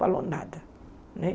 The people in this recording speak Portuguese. Falou nada né.